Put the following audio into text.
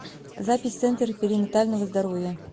запись центр перинатального здоровья